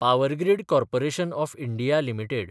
power grid corporation of India limited